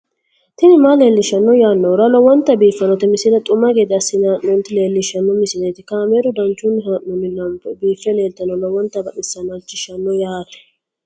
tini maa leelishshanno yaannohura lowonta biiffanota misile xuma gede assine haa'noonnita leellishshanno misileeti kaameru danchunni haa'noonni lamboe biiffe leeeltannoqolten lowonta baxissannoe halchishshanno yaate